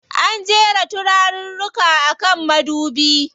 An jera turaruka a kan madubi.